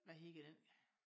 Hvad hedder den